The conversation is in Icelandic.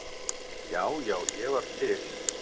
Já, já, ég var til.